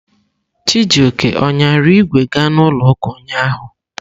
Chijioke ọ ṅyara ìgwè ga n'ụlọ ụka ụnyahụ?